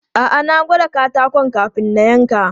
A'a, na gwada katakon kamin na yanka.